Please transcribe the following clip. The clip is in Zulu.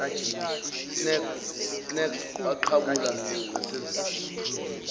snacks waqhabula nasesiphuzweni